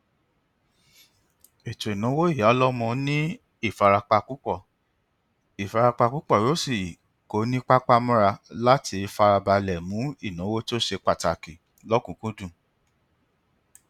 ètòìnáwó ìyáọlómo ní ìfarapa púpọ ìfarapa púpọ o sì ko ní papá mọra láti farabalẹ mú ìnáwó to se pàtàkì lọkùnkúndùn